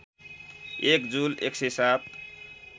एक जुल १०७